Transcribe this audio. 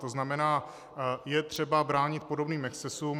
To znamená, je třeba bránit podobným excesům.